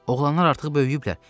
Oğlanlar artıq böyüyüblər.